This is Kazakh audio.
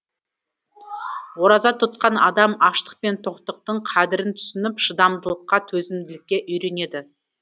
ораза тұтқан адам аштық пен тоқтықтың қадірін түсініп шыдамдылыққа төзімділікке үйренеді